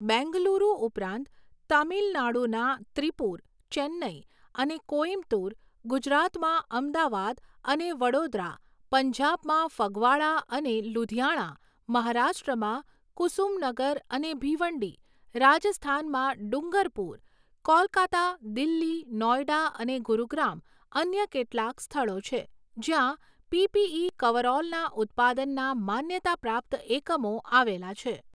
બેંગલુરુ ઉપરાંત, તામિલનાડુના ત્રિપૂર, ચેન્નઈ અને કોઈમ્બતૂર, ગુજરાતમાં અમદાવાદ અને વડોદરા, પંજાબમાં ફગવાડા અને લુધિયાણા, મહારાષ્ટ્રમાં કુસુમનગર અને ભીવંડી, રાજસ્થાનમાં ડુંગરપુર, કોલકાતા, દિલ્હી, નોઇડા અને ગુરુગ્રામ અન્ય કેટલાક સ્થળો છે જ્યાં પીપીઈ કવરઓલના ઉત્પાદનના માન્યતાપ્રાપ્ત એકમો આવેલા છે.